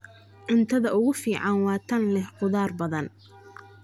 Cuntada ugu fiican waa tan leh khudaar badan.